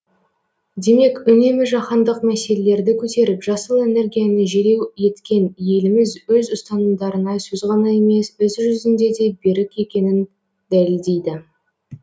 демек үнемі жаһандық мәселелерді көтеріп жасыл энергияны желеу еткен еліміз өз ұстанымдарына сөз ғана емес іс жүзінде де берік екенін дәлелдейді